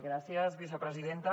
gràcies vicepresidenta